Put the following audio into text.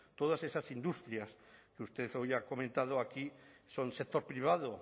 todas esas industrias que usted hoy ha comentado aquí son sector privado